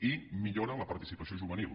i millora la participació juvenil